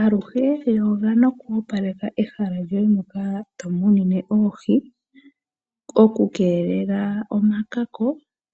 Aaluhe yoga noku opaleka ehala lyoye moka tomunine oohi oku keelelela omakaako